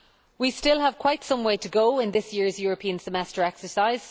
We still have quite some way to go in this year's European Semester exercise.